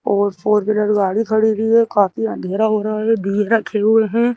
और four wheeler गाड़ी खड़ी हुई है काफी अंधेरा हो रहा है दिये रखे हुए हैं।